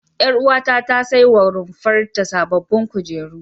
Ƴaruwata ta saiwa runfar ta sababbin kujeru.